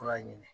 Fura ɲini